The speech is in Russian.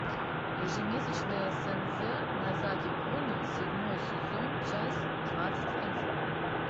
ежемесячное седзе нозаки куна седьмой сезон часть двадцать один